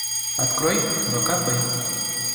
открой вк пей